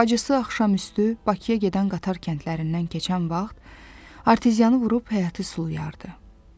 Bacısı axşamüstü Bakıya gedən qatar kəndlərindən keçən vaxt arteziyanı vurub həyəti sulayardı.